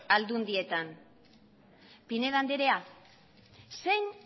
aldundietan pinedo andrea zein